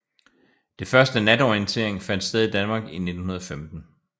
Det første natorientering fandt sted i Danmark i 1915